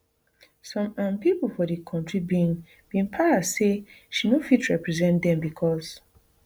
some um pipo for di kontri bin bin para say she no fit reperesent dem becos